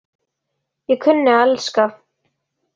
Ég kunni að elska.